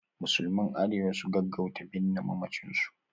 Musulman Arewa su gaggauta binne mamacin su